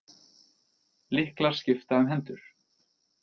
Lyklar skipta um hendur